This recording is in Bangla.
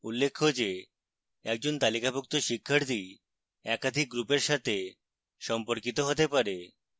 উল্লেখ্য যে: একজন তালিকাভুক্ত শিক্ষার্থী একাধিক গ্রুপের সাথে সম্পর্কিত হতে পারে